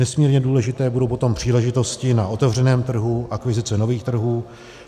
Nesmírně důležité budou potom příležitosti na otevřeném trhu, aktivizace nových trhů.